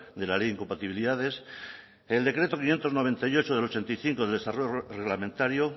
de la ley de incompatibilidades el decreto quinientos noventa y ocho barra ochenta y cinco de desarrollo reglamentario